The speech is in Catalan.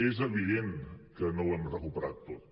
és evident que no ho hem recuperat tot